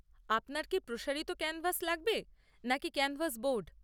আপনার কি প্রসারিত ক্যানভাস লাগবে নাকি ক্যানভাস বোর্ড?